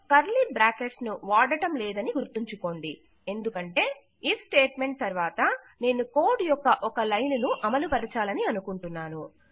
ఇక్కడ curly brackets ను వాడడంలేదని గుర్తుంచుకోండి ఎందుకంటే ఐఎఫ్ స్టేట్ మెంట్ తర్వాత నేను కోడ్ యొక్క ఒక లైను ను అమలుపరచాలనుకుంటున్నాను